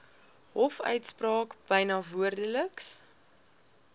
hofuitspraak byna woordeliks